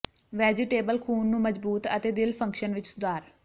vegetable ਖੂਨ ਨੂੰ ਮਜ਼ਬੂਤ ਅਤੇ ਦਿਲ ਫੰਕਸ਼ਨ ਵਿੱਚ ਸੁਧਾਰ